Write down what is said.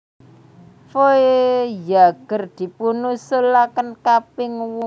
Voyager dipunusulakan kaping wola wali kangge Las Vegas Nevada